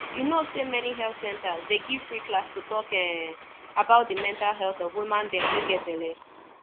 you no say many health centers dey give free class to talk um about de mental health of woman them wey get belle